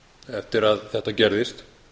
eftir að þetta gerðist